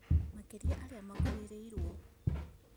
Makĩria arĩa makuĩrĩirwo